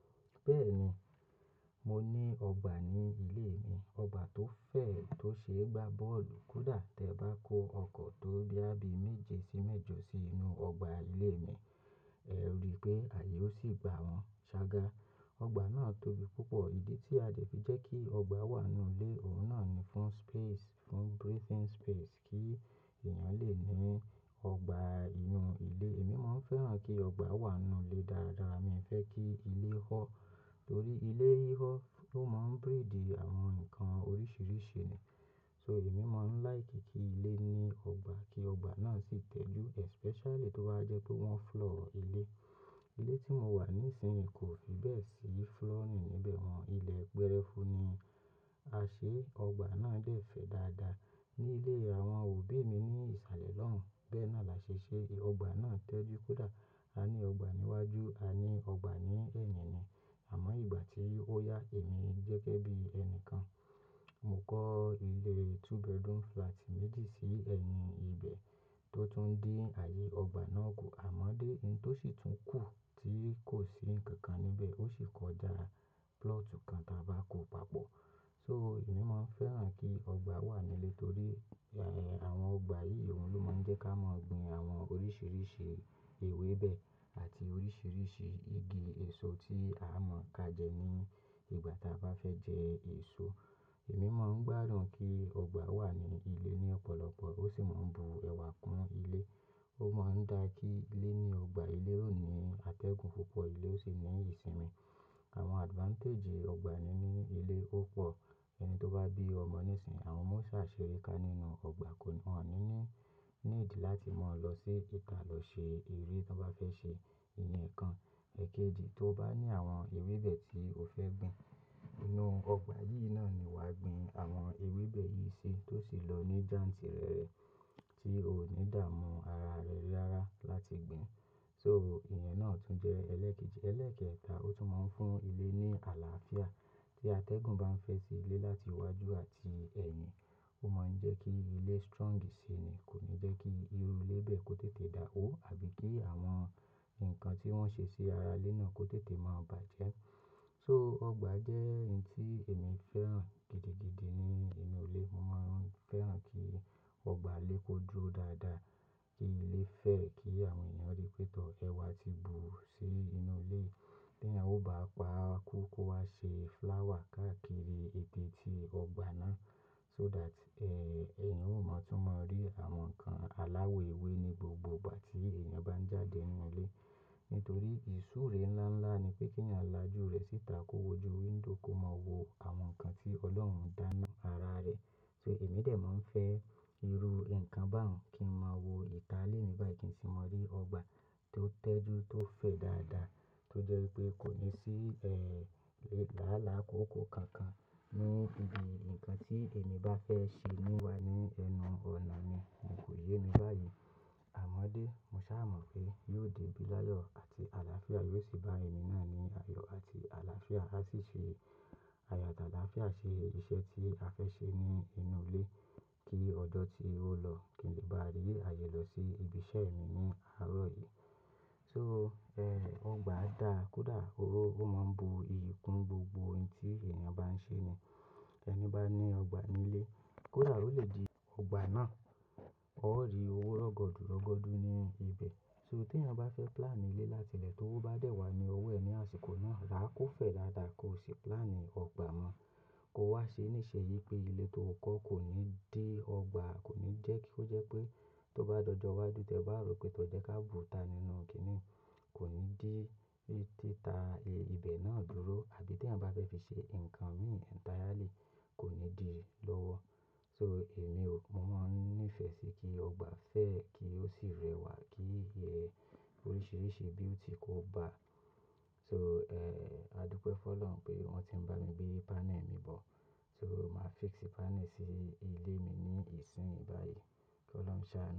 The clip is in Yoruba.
Bẹ́ẹ̀ni, mo ní ọgbà ní ilé mi. Ọgbà tó fẹ̀ tó ṣe é gba bọ́ọ̀lù. Kódà tí ẹ bá kó ọkọ̀ tó boya bi méje sí mẹ́jọ sí inú ọgbà ilé mi, ẹ ríi pé ààyè ó sì gba wọn. Ṣàgá, ọgbà náà tóbi púpọ̀. Ìdí tí a dẹ̀ fi jẹ́ kí ọgbà wà nínú ilé, òun náà ni fún space, fún breathing space kí èèyàn lè ní ọgbà inú ilé. Èmi máa ń fẹ́ràn kí ọgbà wà n nú ilé dáradára. Mi ò fẹ́ kí ilé họ́ torí ilé híhọ́ ló máa ń breed àwọn nǹkan oríṣìíríṣìí ni. So èmi máa ń like kí ilé ní ọgbà kí ọgbà náà sì tẹ́jú especially tó bá jẹ́ pé wọ́n floor ilé. Ilé tí mo wà nísinsìnyí kò fi bẹ́ẹ̀ sí flooring ni níbẹ̀ wọ́n, ilẹ̀ gbẹ́rẹ́fú ni. A ṣe ọgbà náà bẹ́ẹ̀ fẹ́ dáadáa. Ní ilé àwọn òbí mi ní ìsàlẹ̀ lọ́hùn, bẹ́ẹ̀ náà la ṣe ṣe. Ọgbà náà tẹ́jú kódà a ní ọgbà níwájú, a ní ọgbà ní ẹ̀yìn ni. Àmọ́ ìgbà tí ó yá èmi gẹ́gẹ́ bí ẹni kan, mo kọ́ ilé two bedroom flat méjì sí ẹ̀yìn ibẹ̀ tó tún din ààyè ọgbà náà kù. Àmọ́dé, ohun tó sì tún kù tí kò sí nǹkan kan níbẹ̀, ó sì kọjá plot kan ta bá kó papọ̀. So èmi máa ń fẹ́ràn kí ọgbà wà ní ilé torí, eh, àwọn ọgbà yìí òhun ló máa ń jẹ́ ká mọ̀ gbin àwọn oríṣìíríṣìí ewébẹ̀ àti oríṣìíríṣìí igi èso tí a mọ̀o ká jẹ ní ìgbà táa bá fẹ́ jẹ èso. Èmi máa ń gbádùn kí ọgbà wà ní ilé ní ọ̀pọ̀lọpọ̀. Ó sì máa ń bu ẹwà kún ilé. Ó máa ń dá kí ilé o ní ọgbà ilé ó ní atẹ́gùn púpọ̀, ilé ó sì ní ìsinmi. Àwọn advantage ọgbà nínu ilé ó pọ̀. Ẹni tó bá bí ọmọ nísinsìnyí, àwọn omo o ṣà ṣere ká nínú ọgbà, won ní need láti mọ́ ọ lọ sí ita lọ ṣe eré ti won bá fẹ́ ṣe iye ǹkan. Ẹ̀kẹjì, tó bá ní àwọn ewébẹ̀ tí o fẹ́ gbin, inú ọgbà yìí náà ni wàá gbin àwọn ewébẹ̀ yìí sí tó sì lọ ní janti rẹ̀ rẹ̀ tí ò ní dàamú ara rẹ rárá láti gbin. So ìyẹn náà tún jẹ́ ẹlẹ́kẹ́jì. Ẹlẹ́ekẹta, ó tún máa ń fún ilé ní àlàáfíà. Tí atẹ́gùn bá ń fẹ́ sí ilé láti iwájú àti ẹ̀yìn, ó máa ń jẹ́ kí ilé strongi si ni, kò ní jẹ́ kí irú ilé bẹ́ẹ̀ kó tètè dà wó àbí kí àwọn nǹkan tí wọ́n ṣe sí ara ilé náà kó tètè máa bàjẹ́. So ọgbà jẹ́ n tí èmi fẹ́ràn gidigidi ní inú ilé. Mo máa ń fẹ́ràn kí ọgbà ilé kó duro dáadáa, kí inu ilé fẹ̀, kí àwọn èèyàn rí pé tọ̀ ẹwa ti bù sí inú ilé yi. Bí èèyàn ò bá pa kókó á ṣe flower káàkiri eteetí ọgbà náà so that, eh, èèyàn ó mọ̀, tún mọ̀ rí àwọn nǹkan aláwọ ewé ní gbogbo ìgbà tí èèyàn bá ń jáde n nú ilé. Nítorí ìsúre ńlá ńlá ni pé kí èèyàn lajú rẹ̀ síta kó wọjú window kó mọ̀ wo àwọn nǹkan tí Ọlọ́run dá fun ara rẹ̀. So èmi dè mó ń fẹ́ irú nǹkan báun kí n mọ̀ wo ìta ilé mi báyìí kí n sì mọ̀ rí ọgbà tó tẹ́jú tó fẹ̀ dáadáa tó jẹ́ pé kò ní sí, eh, làálàá kóokoo kankan. Ní ìbi ǹkan tí èmi bá fẹ́ ṣe níwà ní ẹnu ọ̀nà mi, mo kò yé mi báyìí. Àmọ́dé, mo sá mọ̀ pé yóò debi láyọ̀ àti àlàáfíà yóò sì bá èmi náà ní àyọ̀ àti àlàáfíà á sì ṣe àyàdàdá, á ṣe iṣẹ́ tí a fẹ́ ṣe ní inú ilé kí ọjọ tí ó lọ kí n lè bá rí ààyè lọ sí ibi iṣẹ́ mi ní àárọ̀ yìí. So, eh, ọgbà yii da kódà o ó máa ń bu iyì kún gbogbo ohun tí èèyàn bá ń ṣe ni. Ẹni bá ní ọgbà ní ilé, kódà ó lè di ọgbà náà ó rí owó rọ́gọ́dú rọ́gọ́dú n nú ibẹ̀. So tí ẹ̀eyan bá fẹ́ plan ilé láti ilẹ̀ tówo bá dẹ́ wá ní ọwọ́ ẹ̀ ní àsìkò náà, rà á kó fẹ̀ dáadáa kó ṣe plan ọgbà mọ́. Ko wá ṣe níṣe yí pé ilé tó kọ́ kò ní dí ọgbà, kò ní jẹ́ kí ó jẹ́ pé tó bá dojọ wá ju tẹ́ ẹ bá rò pé tọ́ jẹ́ ká bùúta nínú kini yi, kò ní dí títà ilé ibẹ̀ náà dúró. Àbí tí ẹ̀eyan bá fẹ́ fi ṣe nǹkan mì entirely, kò ní di lọ́wọ́. So èmi ò, mo máa ń nífẹ̀ẹ́ sí kí ọgbà fẹ̀e kí ó sì rẹwà kí iye oríṣìíríṣìí beauty kó bá. So, eh, a dúpẹ́ fún Ọlọ́run pé wọ́n ti ń bá mi gbé panel mi bọ̀. So màá fix panel sí ilé mi ní ìsín yìí báyìí kí Olórun ṣà.